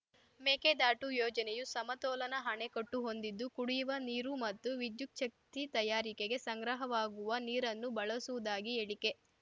ಮೇಕೆದಾಟು ಯೋಜನೆಯು ಸಮತೋಲನ ಅಣೆಕಟ್ಟು ಹೊಂದಿದ್ದು ಕುಡಿಯುವ ನೀರು ಮತ್ತು ವಿದ್ಯುಚ್ಛಕ್ತಿ ತಯಾರಿಕೆಗೆ ಸಂಗ್ರಹವಾಗುವ ನೀರನ್ನು ಬಳಸುವುದಾಗಿ ಹೇಳಿಕೆ